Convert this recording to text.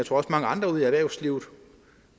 for mange andre ude i erhvervslivet